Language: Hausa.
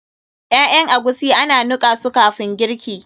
Ƴaƴan agushi ana nika su kafin girki.